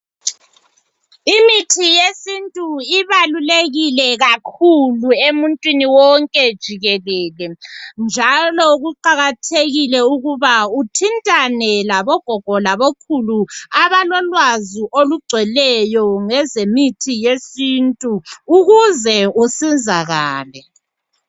Imithi yesintu ibalulekile kakhulu emuntwini wonke jikelele njalo kuqakathekile ukuthi uthintane labogogo labokhulu abalolwazi olugcweleyo ngezemithi yesintu ukuze usizakale.